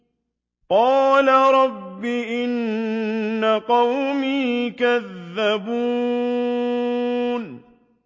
قَالَ رَبِّ إِنَّ قَوْمِي كَذَّبُونِ